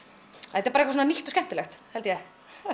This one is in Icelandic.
þetta er bara nýtt og skemmtilegt held ég